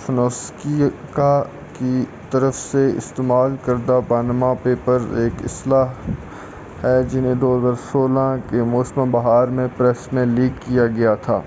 فونسیکا کی طرف سے استعمال کردہ پاناما پیپرز ایک اصطلاح ہے جنہیں 2016 کے موسم بہار میں پریس میں لیک کیا گیا تھا